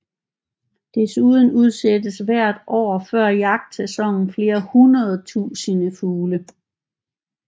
Desuden udsættes hvert år før jagtsæsonen flere hundrede tusinde fugle